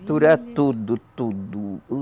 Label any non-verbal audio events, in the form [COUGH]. [UNINTELLIGIBLE] tudo, tudo.